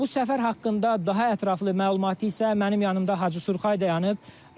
Bu səfər haqqında daha ətraflı məlumatı isə mənim yanımda Hacı Surxay dayanıb.